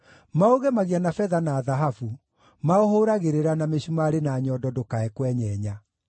Maũgemagia na betha na thahabu; maũhũũragĩrĩra na mĩcumarĩ na nyondo ndũkae kwenyenya.